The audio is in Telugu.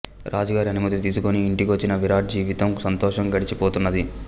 రాజు గారి అనుమతి తీసుకొని ఇంటికొచ్చిన విరాట్ జీవితం సంతోషంగా గడిచి పోతున్నది